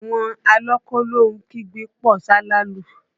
Àwọn alọ kólóhun kígbe pọ̀ salalu